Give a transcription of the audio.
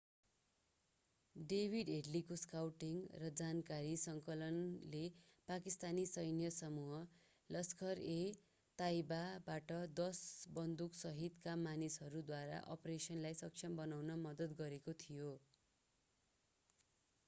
David हेडलीको scouting र जानकारी सङ्कलनले पाकिस्तानी सैन्य समूह लस्खर-ए-ताइबाबाट 10 बन्दुकसहितका मानिसद्वारा अपरेसनलाई सक्षम बनाउन मद्दत गरेको थियो